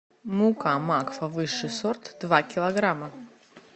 мука макфа высший сорт два килограмма